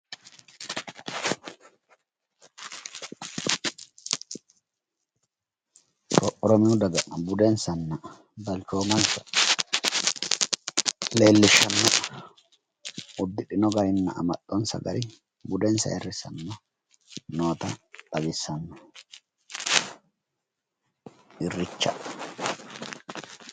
Oromiyu daga budenssanna balchoomanssa leellishshanno. uddidhino garinna amaxxonssa gari budenssa aayirrissanni noota xawissanno irreecha.